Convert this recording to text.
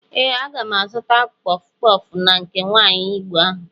Ee, aga m azụta kpọf kpọf na nke nwaanyi igbo ahụ.